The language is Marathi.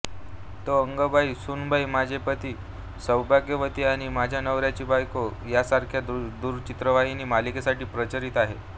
तो अग्गंबाई सूनबाई माझे पती सौभाग्यवती आणि माझ्या नवऱ्याची बायको यांसारख्या दूरचित्रवाणी मालिकेसाठी परिचित आहे